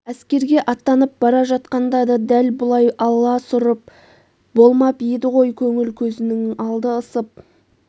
әскерге аттанып бара жатқанда да дәл бұлай аласұрып болмап еді ғой көңіл көзінің алды ысып